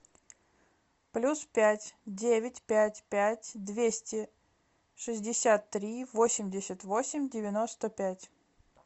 плюс пять девять пять пять двести шестьдесят три восемьдесят восемь девяносто пять